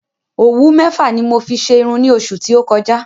Òwú mẹ́fà ni mo fi ṣe irun ní oṣù tí o kọjá